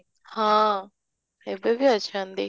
ହଁ, ଏବେବି ଅଛନ୍ତି